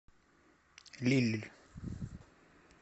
лилль